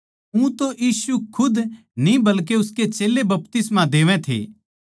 ऊतै यीशु खुद न्ही बल्कि उसके चेल्लें बपतिस्मा देवै थे